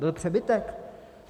Byl přebytek.